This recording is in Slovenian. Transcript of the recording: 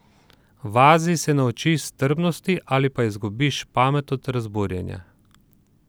V Aziji se naučiš strpnosti ali pa izgubiš pamet od razburjanja!